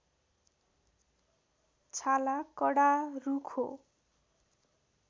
छाला कडा रुखो